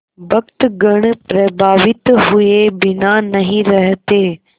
भक्तगण प्रभावित हुए बिना नहीं रहते